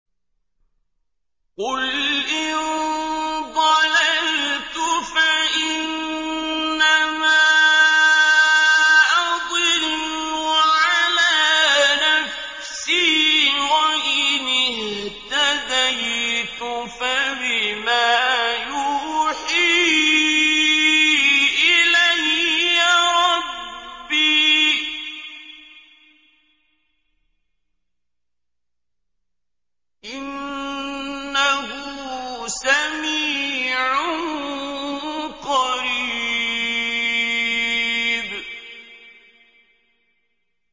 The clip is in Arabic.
قُلْ إِن ضَلَلْتُ فَإِنَّمَا أَضِلُّ عَلَىٰ نَفْسِي ۖ وَإِنِ اهْتَدَيْتُ فَبِمَا يُوحِي إِلَيَّ رَبِّي ۚ إِنَّهُ سَمِيعٌ قَرِيبٌ